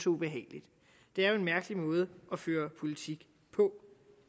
ubehageligt det er jo en mærkelig måde at føre politik på